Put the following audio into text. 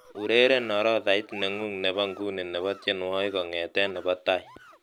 Ureren orodhait nengu nebo nguni nebo tienwogik kogete nebo tai